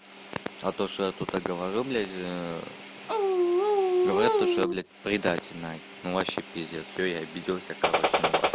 а то что я тут говорю блять говорят то что я блять предатель ну вообще пиздец все я обиделся короче на вас